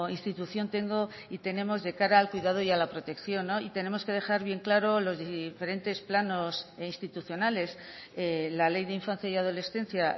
institución tengo y tenemos de cara al cuidado y a la protección y tenemos que dejar bien claro los diferentes planos institucionales la ley de infancia y adolescencia